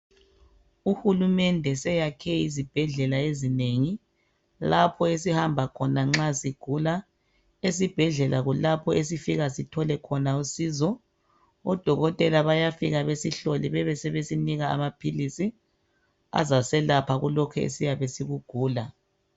Uhulumende seyakhe izibhedlela ezinengi lapho esihamba khona nxa sigula, esibhedlela kulapho esifika sithole khona usizo odokotela bayafika besihlole bebesebesinika amaphilisi azaselapha kulokhu esiyabe sikugula.